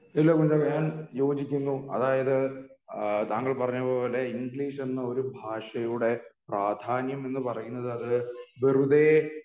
ഞാൻ യോജിക്കുന്നു അതായത് എഹ് തങ്ങൾ പറഞ്ഞപോലെ ഇംഗ്ലീഷ് എന്ന ഒരു ഭാഷയുടെ പ്രാധ്യാനം എന്ന് പറയുന്നത് അത് വെറുതെ